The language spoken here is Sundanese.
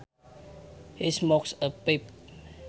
He smokes a pipe